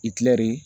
I kilɛri